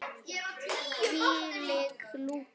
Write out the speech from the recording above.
Hvílík lúka!